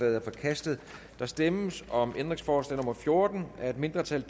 er forkastet der stemmes om ændringsforslag nummer fjorten af et mindretal